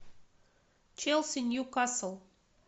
челси ньюкасл